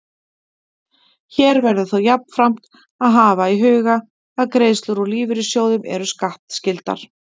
Hér verður þó jafnframt að hafa í huga að greiðslur úr lífeyrissjóðum eru skattskyldar.